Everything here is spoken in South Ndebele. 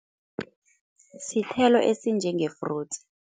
Sithelo esinjenge-fruits.